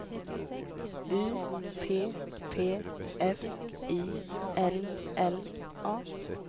U P P F Y L L A